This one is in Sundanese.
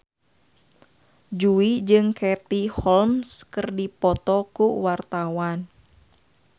Jui jeung Katie Holmes keur dipoto ku wartawan